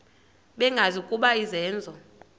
bengazi ukuba izenzo